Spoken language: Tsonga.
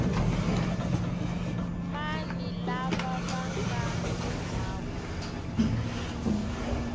mani lava va nga endlaku